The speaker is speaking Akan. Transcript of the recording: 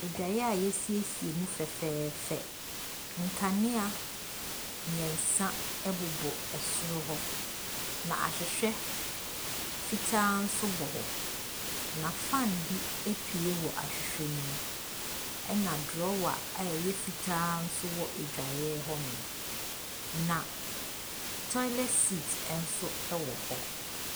Adwaeɛ yɛasiesie mu fɛfɛɛfɛ. Nkanea mmiɛnsa bobɔ soro hɔ, na ahwehwɛ fitaa nso bɔ hɔ. Na fan bi apue wɔ ahwehwɛ ne mu. Na drɔwa a ɛyɛ fitaa nso wɔ adwaeɛ hɔnom. Na toilet seat nso wɔ hɔ.